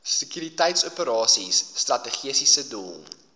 sekuriteitsoperasies strategiese doel